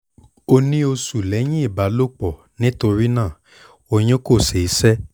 o sì ní oṣù lẹ́yìn ìbálòpọ̀ nítorí náà oyún kò ṣeé ṣe